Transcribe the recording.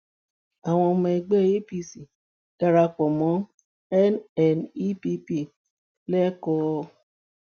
àwọn ọmọ ẹgbẹ apc dara pọ mọ nnepp lẹkọọ